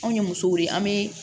Anw ye musow wele an be